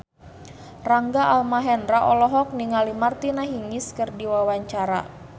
Rangga Almahendra olohok ningali Martina Hingis keur diwawancara